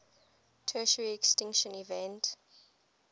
tertiary extinction event